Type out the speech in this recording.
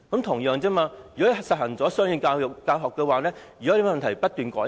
同樣地，如果實行雙語教學，有問題便改善。